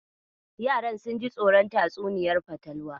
Yaran sun ji tsoron tatsuniyar fatalwar.